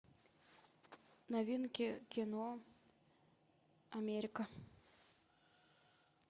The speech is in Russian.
новинки кино америка